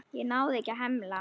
Ég náði ekki að hemla.